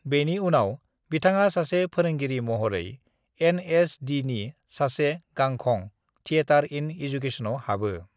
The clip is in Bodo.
"बेनि उनाव बिथाङा सासे फोरोंगिरि महरै एन.एस.डि.नि सासे गांखं, थिएटर इन एजुकेशनआव हाबो।"